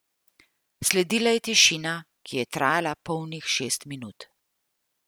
Sledila je tišina, ki je trajala polnih šest minut.